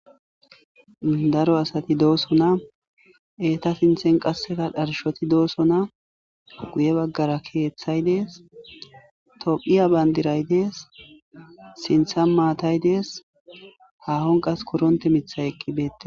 daro asati doosona eeta sinthen qasseka dharshoti dooso na guye baggara keeththay dees tophiya bandiray dees sintha maatay dees haahon qas koronte mithay eqqibeete